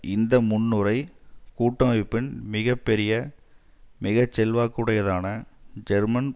இந்த முன்னுரை கூட்டமைப்பின் மிக பெரிய மிக செல்வாக்குடையதான ஜெர்மன்